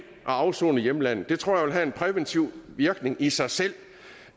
at afsone i hjemlandet jeg tror det vil have en præventiv virkning i sig selv